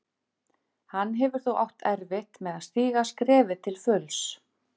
Hann hefur þó átt erfitt með að stíga skrefið til fulls.